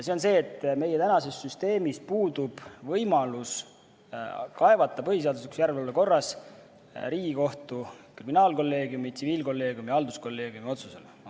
See on see, et meie tänases süsteemis puudub võimalus kaevata põhiseaduslikkuse järelevalve korras Riigikohtu kriminaalkolleegiumi, tsiviilkolleegiumi ja halduskolleegiumi otsuse peale.